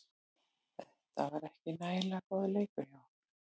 Þetta var ekki nægilega góður leikur hjá okkur.